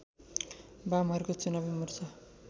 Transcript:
वामहरूको चुनावी मोर्चा